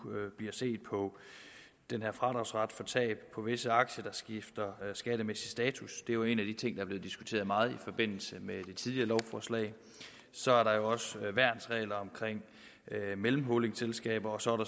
bliver set på den her fradragsret for tab på visse aktier der skifter skattemæssig status det er jo en af de ting der er blevet diskuteret meget i forbindelse med det tidligere lovforslag så er der også værnsregler omkring mellemholdingselskaber og så